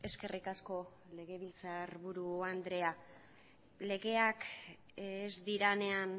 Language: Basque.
eskerrik asko legebiltzarburu andrea legeak ez direnean